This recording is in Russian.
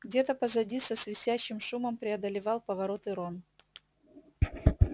где-то позади со свистящим шумом преодолевал повороты рон